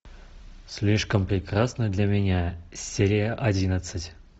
слишком прекрасна для меня серия одиннадцать